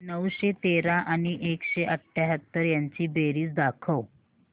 नऊशे तेरा आणि एकशे अठयाहत्तर यांची बेरीज दाखव